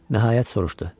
Nəhayət, soruşdu.